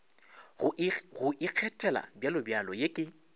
go ikgethela bjalobjalo ye ke